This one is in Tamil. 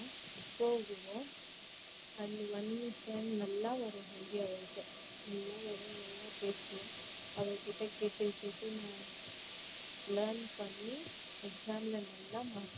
போவோம் and one more friend நல்லா வரும் ஹிந்தி அவளுக்கு நல்லா வரும் நல்லா பேசுவா அவ கிட்ட கேட்டு கேட்டு நான் learn பண்ணி exam ல நல்லா mark எடுப்பேன்.